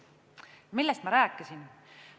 Ja millest ma rääkisin?